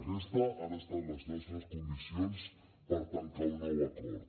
aquestes han estat les nostres condicions per tancar un nou acord